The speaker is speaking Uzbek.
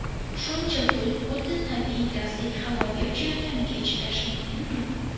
Shuncha pul xuddi tabiiy gazdek havoga uchayotganiga chidash mumkinmi?